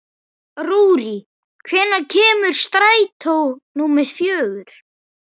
Rúrí, hvenær kemur strætó númer fjögur?